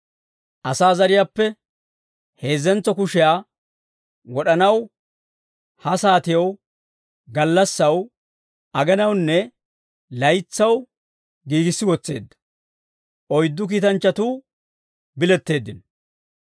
Asaa zariyaappe heezzentso kushiyaa wod'anaw, ha saatiyaw, gallassaw, agenawunne laytsaw giigissi wotseedda, oyddu kiitanchchatuu biletteeddino.